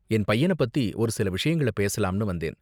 என் பையன பத்தி ஒரு சில விஷயங்கள் பேசலாம்னு வந்தேன்.